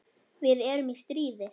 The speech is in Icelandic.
Við erum í stríði.